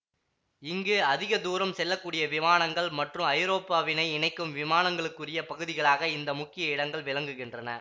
இங்கு அதிக தூரம் செல்ல கூடிய விமானங்கள் மற்றும் ஐரோப்பாவினை இணைக்கும் விமானங்களுக்குரிய பகுதிகளாக இந்த முக்கிய இடங்கள் விளங்குகின்றன